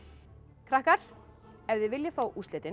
krakka ef þið viljið fá úrslitin